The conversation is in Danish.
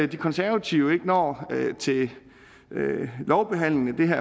de konservative ikke når til lovbehandlingen